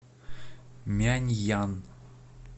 мяньян